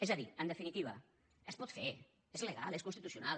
és a dir en definitiva es pot fer és legal és constitucional